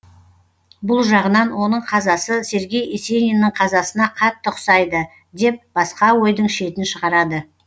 бұл жағынан оның қазасы сергей есениннің қазасына қатты ұқсайды деп басқа ойдың шетін шығарады